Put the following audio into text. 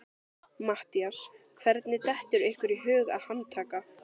MATTHÍAS: Hvernig dettur ykkur í hug að handtaka